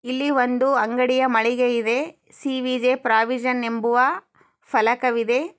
ಇಲ್ಲಿ ಒಂದು ಅಂಗಡಿಯ ಮಳಿಗೆ ಇದೆ. ಸಿ.ವಿ.ಜೆ ಪ್ರಾವಿಜನ್ ಎಂಬುವ ಫಲಕವಿದೆ.